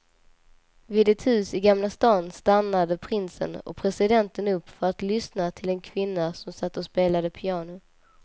Vid ett hus i gamla stan stannade prinsen och presidenten upp för att lyssna till en kvinna som satt och spelade piano.